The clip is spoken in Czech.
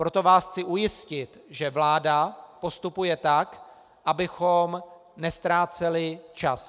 Proto vás chci ujistit, že vláda postupuje tak, abychom neztráceli čas.